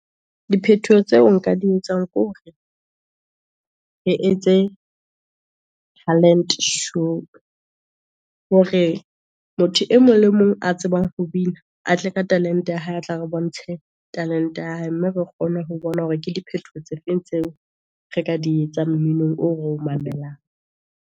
Diphetoho tseo nka di etsang, ke hore re etse talent-e show, hore motho e mong le e mong a tsebang ho bina, a tle ka talent-e ya hae, a tla re bontshe talent-e ya hae. Mme re kgone ho bona hore ke di phethoho tse feng, tseo re ka di etsa mminong oo re o mamelang.